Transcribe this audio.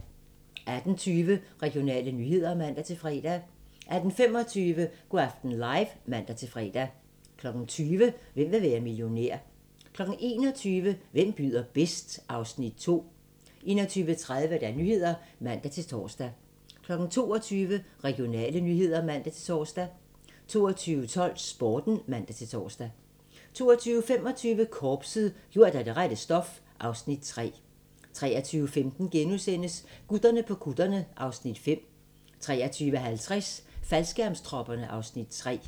18:20: Regionale nyheder (man-fre) 18:25: Go' aften live (man-fre) 20:00: Hvem vil være millionær? 21:00: Hvem byder bedst? (Afs. 2) 21:30: Nyhederne (man-tor) 22:00: Regionale nyheder (man-tor) 22:12: Sporten (man-tor) 22:25: Korpset - gjort af det rette stof (Afs. 3) 23:15: Gutterne på kutterne (Afs. 5)* 23:50: Faldskærmstropperne (Afs. 3)